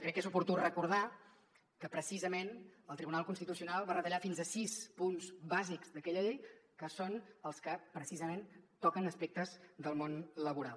crec que és oportú recordar que precisament el tribunal constitucional va retallar fins a sis punts bàsics d’aquella llei que són els que precisament toquen aspectes del món laboral